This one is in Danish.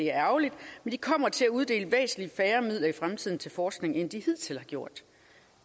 er ærgerligt men de kommer til at uddele væsentlig færre midler i fremtiden til forskning end de hidtil har gjort